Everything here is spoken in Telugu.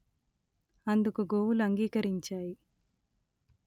అందుకు గోవులు అంగీకరించాయి